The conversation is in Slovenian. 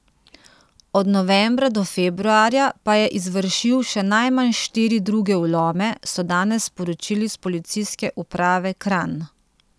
Od novembra do februarja pa je izvršil še najmanj štiri druge vlome, so danes sporočili s Policijske uprave Kranj.